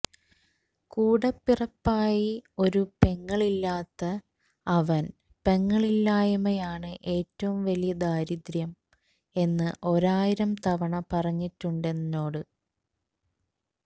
കൂടപ്പിറപ്പായി ഒരു പെങ്ങളില്ലാത്ത അവൻ പെങ്ങളില്ലായ്മയാണ് ഏറ്റവും വലിയ ദാരിദ്ര്യം എന്ന് ഒരായിരം തവണ പറഞ്ഞിട്ടുണ്ടെന്നോട്